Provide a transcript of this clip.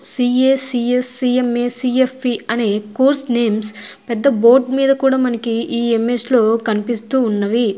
C A C S C M A C F P అని course names పెద్ద పెద్ద board names కూడా మనకి ఈ ఎమ్మెస్ లో కనిపిస్తూ ఉన్నవి.